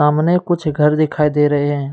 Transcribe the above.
सामने कुछ घर दिखाई दे रहे हैं।